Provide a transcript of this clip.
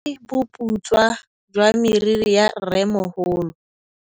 Ke bone boputswa jwa meriri ya rrêmogolo.